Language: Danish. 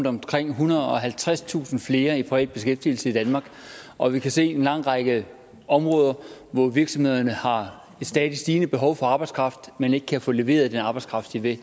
omkring ethundrede og halvtredstusind flere i privat beskæftigelse i danmark og vi kan se en lang række områder hvor virksomhederne har et stadig stigende behov for arbejdskraft men ikke kan få leveret den arbejdskraft de vil